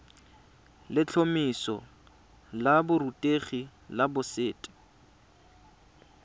letlhomeso la borutegi la boset